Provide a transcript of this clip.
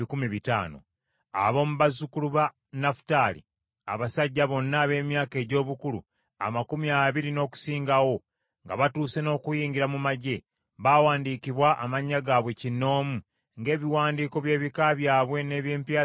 Ab’omu bazzukulu ba Nafutaali: Abasajja bonna ab’emyaka egy’obukulu amakumi abiri n’okusingawo, nga batuuse n’okuyingira mu magye, baawandiikibwa amannya gaabwe kinnoomu, ng’ebiwandiiko by’ebika byabwe n’eby’empya zaabwe bwe byali.